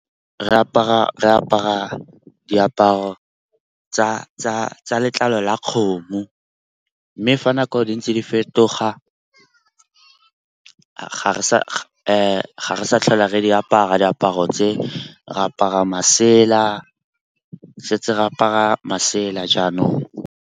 Re apara diaparo tsa letlalo la kgomo mme fa nako di ntse di fetoga, ga re sa tlhola re di apara diaparo tse. Re apara masela se tse re apara masela jaanong.